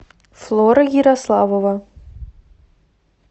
флора ярославова